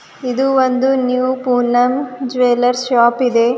ಇದು ಒಂದು new Poonam jewellers shop ಇದೆ.